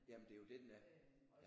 Jamen det er jo det den er ja